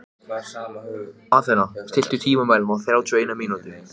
Athena, stilltu tímamælinn á þrjátíu og eina mínútur.